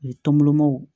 tɔn bolomaw